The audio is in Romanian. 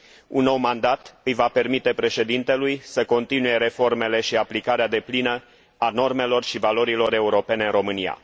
Un nou mandat îi va permite președintelui să continue reformele și aplicarea deplină a normelor și valorilor europene în România.